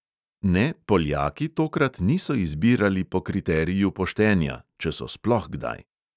Ne, poljaki tokrat niso izbirali po kriteriju poštenja, če so sploh kdaj.